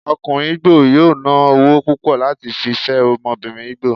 okunrin Igbo yóò ná ọwọ púpò láti fí fé ọmọbìnrin igbo